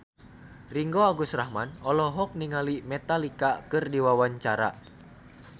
Ringgo Agus Rahman olohok ningali Metallica keur diwawancara